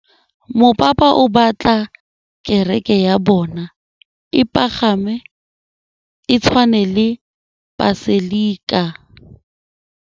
Mopapa o batla kereke ya bone e pagame, e tshwane le paselika.